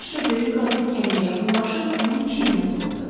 yaşca böyük qadın gəncə yaxınlaşıb onun çiyininə toxundu.